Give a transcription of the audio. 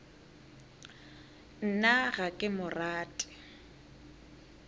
nna ga ke mo rate